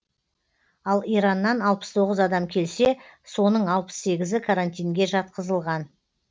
ал ираннан алпыс тоғыз адам келсе соның алпыс сегізі карантинге жатқызылған